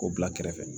K'o bila kɛrɛfɛ